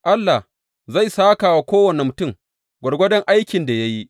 Allah, Zai sāka wa kowane mutum gwargwadon aikin da ya yi.